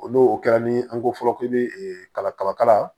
O n'o kɛra ni an ko fɔlɔ k'i bɛ kalakala